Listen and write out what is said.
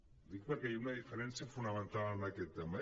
ho dic perquè hi ha una diferència fonamental en aquest tema